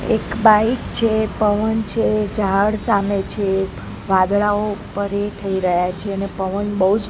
એક બાઈક છે પવન છે ઝાડ સામે છે વાદળાઓ ઉપર એ થઈ રહ્યા છે અને પવન બૌજ--